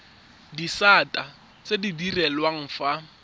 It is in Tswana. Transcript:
disata tse di direlwang fa